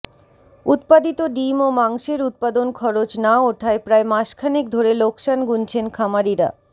উৎপাদিত ডিম ও মাংসের উৎপাদন খরচ না ওঠায় প্রায় মাসখানেক ধরে লোকসান গুনছেন খামারিরা